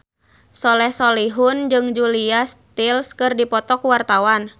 Soleh Solihun jeung Julia Stiles keur dipoto ku wartawan